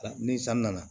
Ni san nana